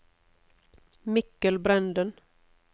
Mikkel Brenden